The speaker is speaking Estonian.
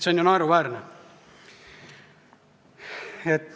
See on ju naeruväärne!